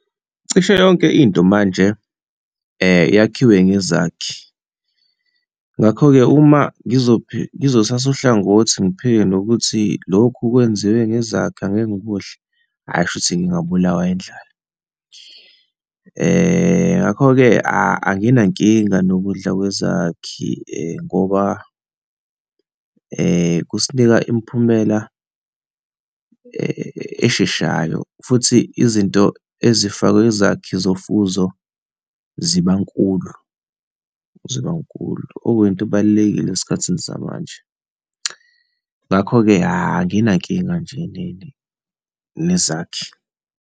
Cishe yonke into manje yakhiwe ngezakhi, ngakho-ke uma ngizothatha uhlangothi, ngiphike nokuthi lokhu kwenziwe ngezakhi, angeke ngikudle, hhayi kushuthi ngingabulawa indlala. Ngakho-ke anginankinga nokudla kwezakhi ngoba kusinika imiphumela esheshayo futhi izinto ezifakwe izakhi zofuzo ziba nkulu, ziba nkulu, okuyinto obalulekile esikhathini samanje. Ngakho-ke anginankinga nje nezakhi.